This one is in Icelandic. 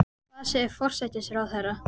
En hvað segir forsætisráðherra?